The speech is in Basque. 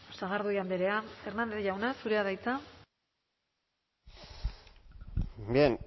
sagardui andrea hernández jauna zurea da hitza bien